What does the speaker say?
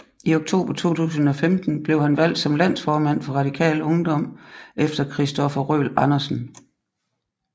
I oktober 2015 blev han valgt som landsformand for Radikal Ungdom efter Christopher Røhl Andersen